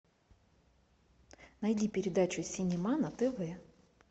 найди передачу синема на тв